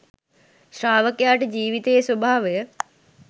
ශ්‍රාවකයාට ජීවිතයේ ස්වභාවය